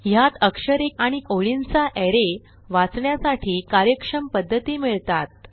ह्यात अक्षरे आणि ओळींचा अरे वाचण्यासाठी कार्यक्षम पध्दती मिळतात